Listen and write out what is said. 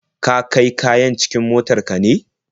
Ka kai kayan cikin motar ka ne?